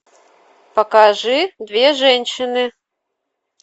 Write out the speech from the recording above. покажи две женщины